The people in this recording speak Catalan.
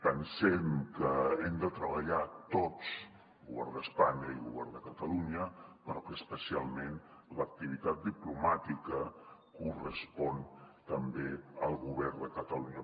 pensem que hem de treballar tots govern d’espanya i govern de catalunya però que especial·ment l’activitat diplomàtica correspon també al govern de catalunya